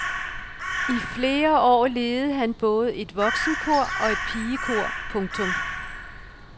I flere år ledede han både et voksenkor og et pigekor. punktum